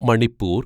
Manipur